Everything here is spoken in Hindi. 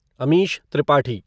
अमिश त्रिपाठी